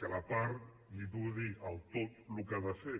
que la part li pugui dir al tot el que ha de fer